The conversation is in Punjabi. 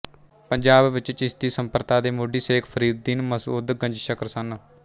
ਪੰਜਾਬ ਵਿੱਚ ਚਿਸ਼ਤੀ ਸੰਪ੍ਰਦਾ ਦੇ ਮੋਢੀ ਸ਼ੇਖ ਫ਼ਰੀਦੁਦੀਨ ਮਸਉਦ ਗੰਜਸ਼ਕਰ ਸਨ